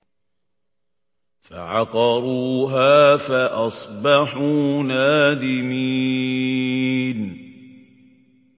فَعَقَرُوهَا فَأَصْبَحُوا نَادِمِينَ